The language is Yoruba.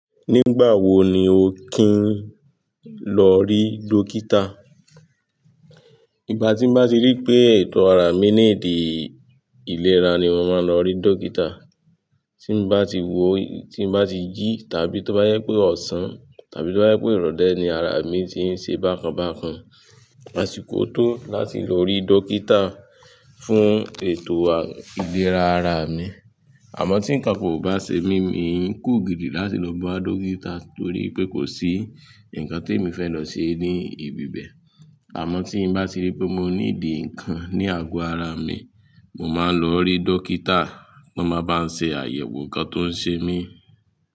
Nígbà wo ni o kí n lọ rí dókítà? Ìgbà tí n bá ti rí pé ètò ara mi níìdí ìlera ni mo máa n lọ rí dókítà. Tí n bá ti wò, tí n bá ti jí tàbí tó bá jẹ pé ọsàn tàbí tó bá jẹ pé irọlẹ ni ara mi ti ń ṣe bákan bákan, àsìkò tó láti lọ rí dókítà fún ètò ìlera ara mi. Àmọ́ tí nkankan kò bá ṣe mí, mi kugiri láti lọ bá dókítà torí pé kò sí nǹkan tí èmi fẹ́ lọ ṣe ní ibi bẹ́ẹ̀. Àmọ́ tí n bá ti rí pé mo níìdí nǹkan ní àgọ ara mi, mo máa n lọ rí dókítà, won máa ba mi ṣàyẹ̀wò nǹkan tó ń ṣe mí.